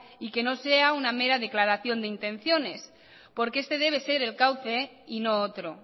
y que no sea una mera declaración de intenciones porque este debe ser el cauce y no otro